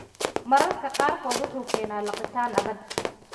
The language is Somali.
Mararka qaarkood anomaly-gu wuxuu keenaa liqitaan adag (dysphagia lusoria).